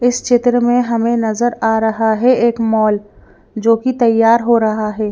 इस चित्र में हमें नजर आ रहा है एक मॉल जोकि तैयार हो रहा है।